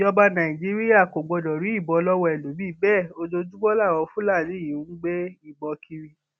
ìjọba nàìjíríà kò gbọdọ rí ìbọn lọwọ ẹlòmíín bẹẹ ojoojúmọ làwọn fúlàní yìí ń gbé ìbọn kiri